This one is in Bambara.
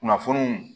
Kunnafoniw